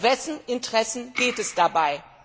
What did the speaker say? Um wessen Interessen geht es dabei?